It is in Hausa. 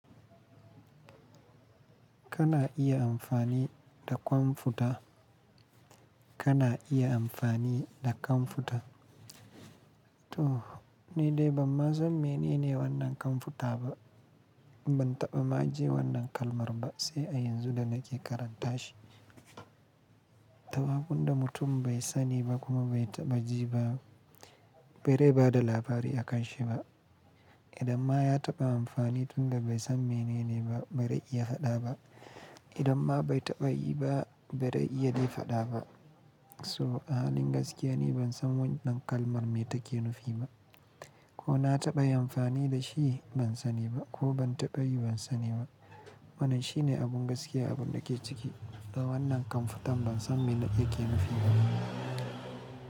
Kana iya amfani da kwamfuta. Kana iya amfani da kwamfuta. To ni dai ban ma san mene ne wannan kwamfuta ba. Ban taɓa ma jin wannan kalmar ba sai a yanzu da nake karanta shi. Tawagunda mutum bai sani ba kuma bai taɓa ji ba, bare ba da labari akanshi ba. Idan ma ya taɓa amfani tun da bai san mene ne ba bai dai iya haɗa ba. Idan ma bai taɓa yi ba bai dai iya dai haɗa ba. So ahalin gaskiya ni ban san wannan kalmar me take nufi ba. Ko na taɓa yin amfani da shi, ban sani ba, ko ban taɓa yi ban sani ba. Wannan shine abun gaskiya abun da ke ciki. Dan wannan kwamfutan ban san mene yake nufi ba.